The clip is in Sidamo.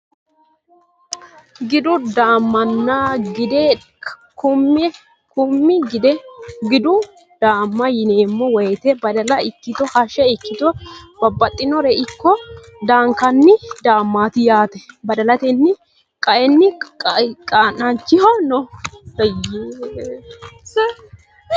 Gidu daamana gidde kumi gidu daama yineemo woyite badala ikito haashe ikito babaxinoreno ikko daankani daamati yaate badalatini qaayini qaancaho no.